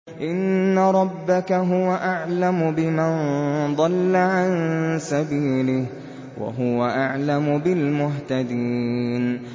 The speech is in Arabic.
إِنَّ رَبَّكَ هُوَ أَعْلَمُ بِمَن ضَلَّ عَن سَبِيلِهِ وَهُوَ أَعْلَمُ بِالْمُهْتَدِينَ